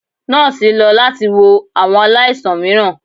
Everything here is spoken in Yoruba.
Nọọsi lọ lati wo awọn alaisan miiran